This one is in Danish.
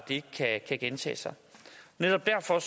det ikke kan gentage sig netop derfor